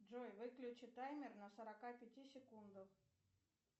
джой выключи таймер на сорока пяти секундах